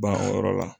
Ban o yɔrɔ la